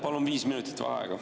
Palun viis minutit vaheaega.